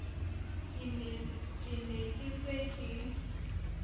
ke ne ke se ke